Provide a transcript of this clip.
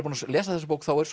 búinn að lesa þessa bók þá er